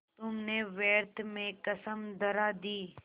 तुमने व्यर्थ में कसम धरा दी